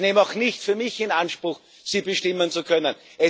Ich nehme auch nicht für mich in Anspruch, sie bestimmen zu können.